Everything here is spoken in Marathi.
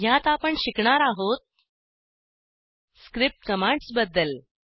ह्यात आपण शिकणार आहोत स्क्रिप्ट कमांड्स बद्दल